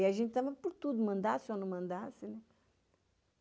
E a gente estava por tudo, mandasse ou não mandasse, né?